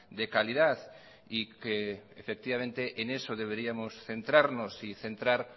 de calidad y que efectivamente en eso deberíamos centrarnos y centrar